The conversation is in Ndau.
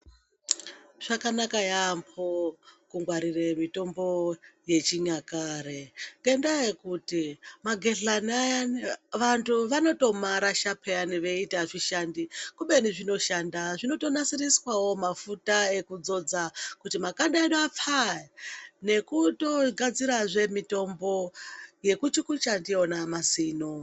Zvakanaka yambo kungwarire mutombo yechinyakare ngendaa yekuti magedhlani ayani vantu vanotomarasha peyani veiti azvishandi kubeni zvinoshanda zvinonasiriswawo mafuta ekudzodza kuti makanda edu apfae nekutogadzirazve mitombo yekuchukucha ndiyona mazino.